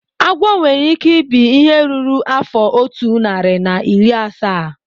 Agwo nwere ike ibi ihe ruru afọ otu narị na iri asaa